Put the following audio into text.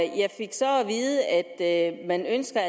vide at man altså